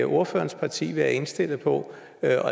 ordførerens parti være indstillet på at